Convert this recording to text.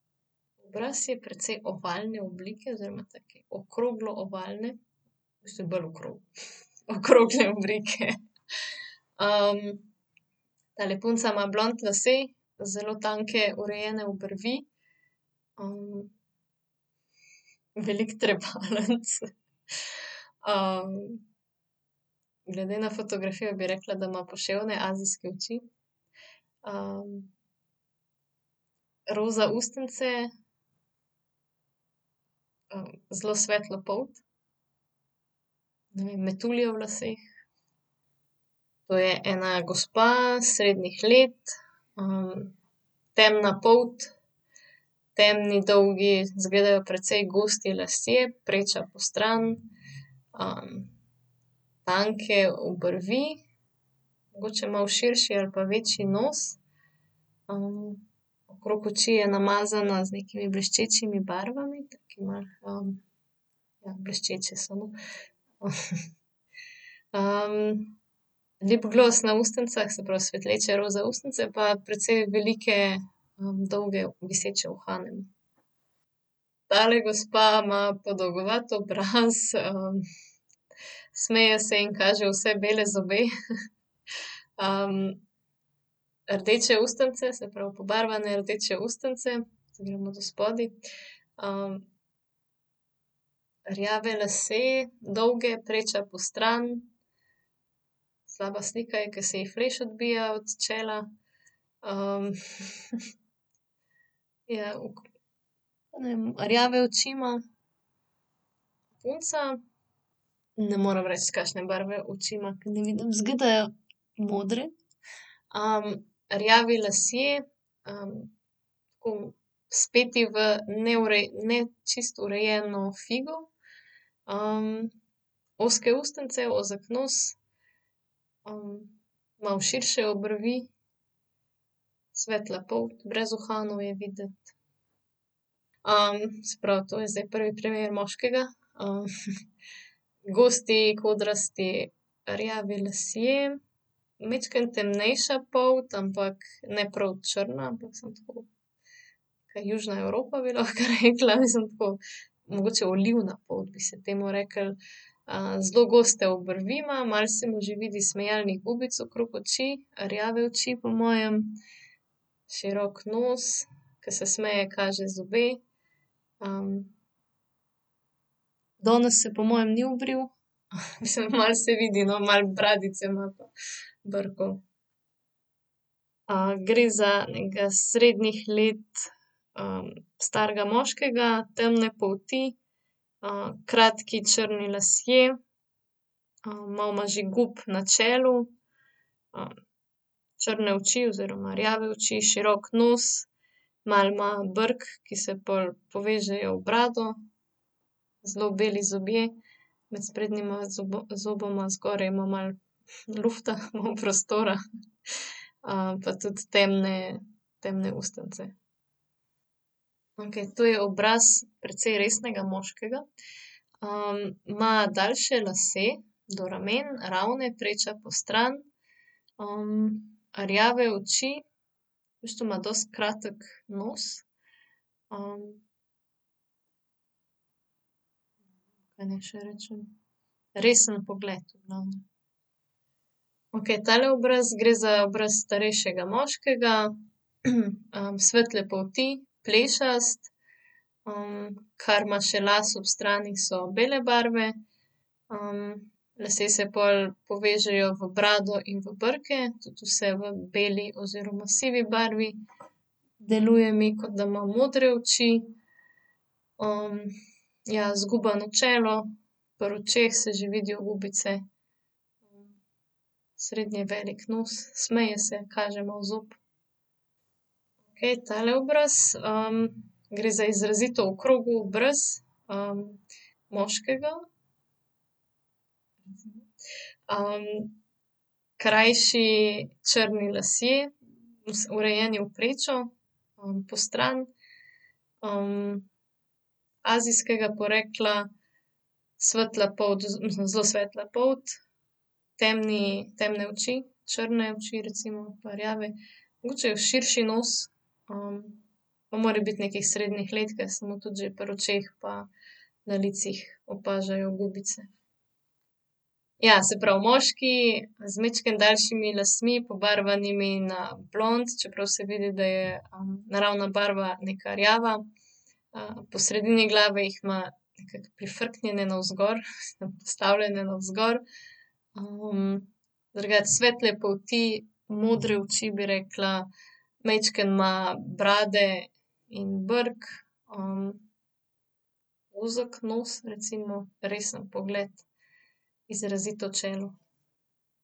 Obraz je precej ovalne oblike oziroma take okroglo-ovalne. Neraz še bolj okrogle oblike. tale punca ima blond lase, zelo tanke, urejene obrvi. veliko trepalnic, glede na fotografijo bi rekla, da ima poševne azijske oči. roza ustnice, zelo svetlo polt. Ne vem, metulje v laseh. To je ena gospa, srednjih let. temna polt, temni dolgi, izgledajo precej gosti lasje. Preča postrani. tanke obrvi, mogoče malo širši ali pa večji nos. okrog oči je namazana z nekimi bleščečimi barvami, taki malo, ja, bleščeče so, no. lipglos na ustnicah, se pravi, svetleče roza ustnice pa precej velike, dolge viseče uhane. Tale gospa ima podolgovat obraz, smeje se in kaže vse bele zobe. rdeče ustnice, se pravi, pobarvane rdeče ustnice. Zdaj grem od od spodaj, Rjave lase, dolge, preča postrani. Slaba slika je, ker se ji fleš odbija od čela. ja ne vem, rjave oči ima, punca, ne morem reči, kakšne barve oči ima, ker ne vidim, izgledajo modre. rjavi lasje, tako speti v ne čisto urejeno figo. ozke ustnice, ozek nos, malo širše obrvi, svetla polt, brez uhanov je videti. se pravi, to je zdaj prvi primer moškega, gosti, kodrasti, rjavi lasje. Majčkeno temnejša polt, ampak ne prav črna, ampak samo tako južna Evropa bi lahko rekla, mislim, tako mogoče olivna polt, bi se temu reklo. zelo goste obrvi ima, malo se mu že vidi smejalnih gubic okrog oči, rjave oči po mojem. Širok nos, ke se smeje, kaže zobe. danes se po mojem ni obril, mislim malo se vidi, no, malo bradice ima pa brkov. gre za nekega srednjih let, starega moškega, temne polti, kratki, črni lasje, malo ima že gub na čelu, črne oči oziroma rjave oči, širok nos, malo ima brk, ki se pol povežejo v brado, zelo beli zobje. Med sprednjima zoboma zgoraj ima malo, lufta, malo prostora, pa tudi temne, temne ustnice. Okej, to je obraz precej resnega moškega. ima daljše lase, do rumeno, ravne, preča postrani. rjave oči, v bistvu ima dosti kratek nos, Kaj naj še rečem? Resen pogled, no. Okej, tale obraz, gre za obraz starejšega moškega, svetle polti, plešast. kar ima še las ob strani, so bele barve. lasje se pol povežejo v brado in v brke, tudi vse v beli oziroma sivi barvi. Deluje mi, kot da ima modre oči, ja, zgubano čelo, pri očeh se že vidijo gubice. Srednje veliko nos, smeje se, kaže malo zob. Okej tale obraz, Gre za izrazito okrogel obraz, moškega, krajši, črni lasje. Urejeni v prečo. postrani. azijskega porekla, svetla polt, mislim zelo svetla polt, temni, temne oči, črne oči, recimo pa rjave. Mogoče širši nos, pa mora biti nekih srednjih let, ker se mu tudi že pri očeh pa tudi na licih opažajo gubice. Ja, se pravi moški z majčkeno daljšimi lasmi, pobarvanimi na blond, čeprav se vidi, da je, naravna barva neka rjava. po sredini glave jih ima nekako prifrknjene navzgor, postavljene navzgor. drugače svetle polti, modre oči, bi rekla, majčkeno ima brade in brk, Ozek nos, recimo, resen pogled. Izrazito čelo.